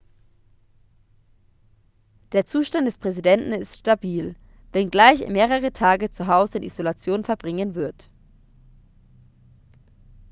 der zustand des präsidenten ist stabil wenngleich er mehrere tage zu hause in isolation verbringen wird